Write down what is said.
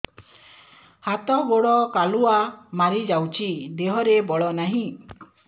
ହାତ ଗୋଡ଼ କାଲୁଆ ମାରି ଯାଉଛି ଦେହରେ ବଳ ନାହିଁ